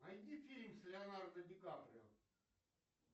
найди фильм с леонардо ди каприо